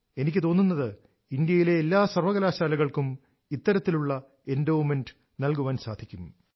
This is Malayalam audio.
എനിക്ക് തോന്നുന്നത് ഇന്ത്യയിലെ എല്ലാ സർവകലാശാലകൾക്കും ഇത്തരത്തിലുള്ള എൻഡോവ്മെന്റ് നൽകുവാൻ സാധിക്കും